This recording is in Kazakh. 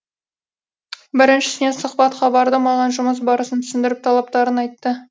біріншісіне сұхбатқа бардым маған жұмыс барысын түсіндіріп талаптарын айтты